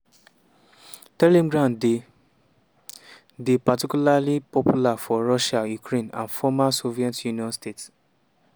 telegram dey dey particularly popular for russia ukraine and former soviet union states.